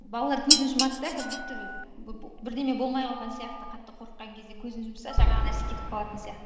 балалар көзін жұмады да как будто і бірдеме болмай қалған сияқты қатты қорыққан кезде көзін жұмса жаңағы нәрсе кетіп қалатын сияқты